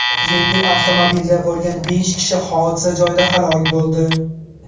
Yengil avtomobilda bo‘lgan besh kishi hodisa joyida halok bo‘ldi.